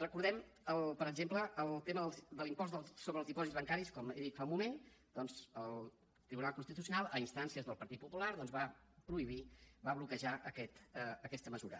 recordem per exemple el tema de l’impost sobre els dipòsits bancaris com he dit fa un moment doncs el tribunal constitucional a instàncies del partit popular va prohibir va bloquejar aquesta mesura